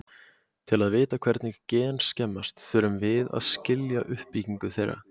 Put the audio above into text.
til að vita hvernig gen skemmast þurfum að við að skilja uppbyggingu þeirra